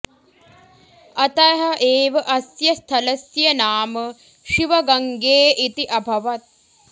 अतः एव अस्य स्थलस्य नाम शिवगङ्गे इति अभवत्